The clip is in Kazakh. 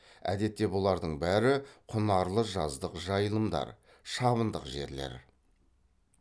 әдетте бұлардың бәрі құнарлы жаздық жайылымдар шабындық жерлер